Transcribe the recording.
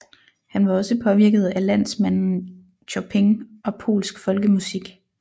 Han var også påvirket af landsmanden Chopin og polsk folkemusik